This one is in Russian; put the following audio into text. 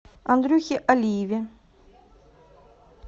андрюхе алиеве